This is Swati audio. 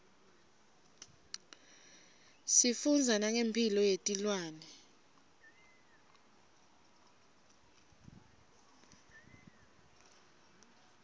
sifundza nangemphilo yetilwane